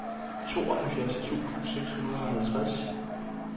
tooghalvfjerds tusind seks hundrede og halvtreds